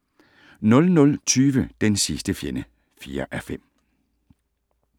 00:20: Den sidste fjende (4:5)